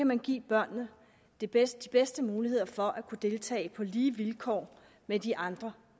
man give børnene de bedste bedste muligheder for at kunne deltage på lige vilkår med de andre